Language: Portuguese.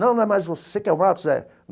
Não, não mas é você que é o Marcos, é?